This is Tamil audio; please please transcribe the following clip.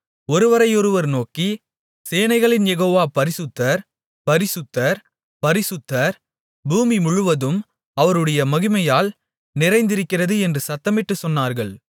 ஒருவரையொருவர் நோக்கி சேனைகளின் யெகோவா பரிசுத்தர் பரிசுத்தர் பரிசுத்தர் பூமிமுழுவதும் அவருடைய மகிமையால் நிறைந்திருக்கிறது என்று சத்தமிட்டுச் சொன்னார்கள்